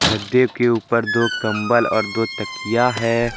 गद्दे के ऊपर दो कंबल और दो तकिया है।